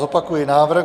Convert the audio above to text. Zopakuji návrh.